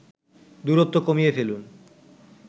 দূরত্ব কমিয়ে ফেলুন